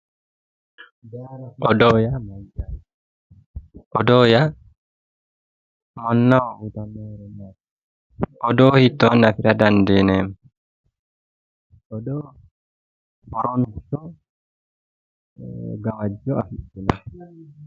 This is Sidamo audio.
Odoo, odoo yaa mannaho odoo hiitto beeha dandiineemmo ,odoo hiittoni afira dandiineemmo